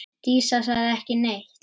Dísa sagði ekki neitt.